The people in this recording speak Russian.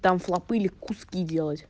там флоп были куски делать